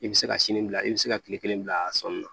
I bɛ se ka sini bila i bɛ se ka tile kelen bila a sɔnni na